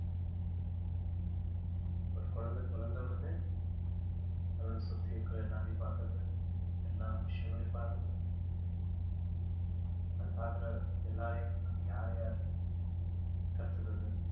ஒரு குழந்தை பிறந்த உடனே தன்னோட சுத்தி இருக்கிற எல்லாரையும் பார்க்குது எல்லா விஷயங்களையும் பார்க்குது தான் பார்க்கிற எல்லாரையும் அது யார் யாரு கத்துக்கிறது